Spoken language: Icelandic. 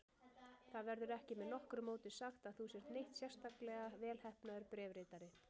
Það verður ekki með nokkru móti sagt að þú sért neitt sérstaklega velheppnaður bréfritari.